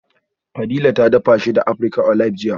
Fadila ta dafa shi da African Olive jiya